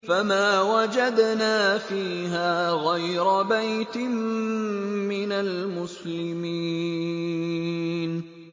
فَمَا وَجَدْنَا فِيهَا غَيْرَ بَيْتٍ مِّنَ الْمُسْلِمِينَ